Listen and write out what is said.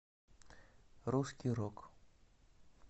русский рок